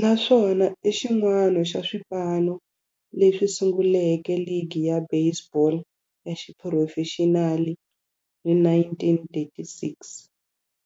naswona i xin'wana xa swipano leswi sunguleke ligi ya baseball ya xiphurofexinali hi 1936.